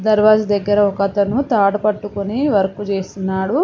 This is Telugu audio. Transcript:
దర్వాజ్ దగ్గర ఒకతను తాడుపట్టుకొని వర్క్ చేస్తున్నాడు.